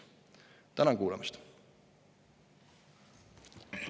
Tänan kuulamast!